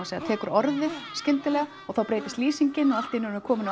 tekur orðið skyndilega og þá breytist lýsingin og allt í einu erum við komin á